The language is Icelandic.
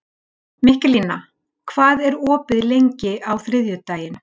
Mikaelína, hvað er opið lengi á þriðjudaginn?